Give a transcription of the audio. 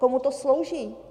Komu to slouží?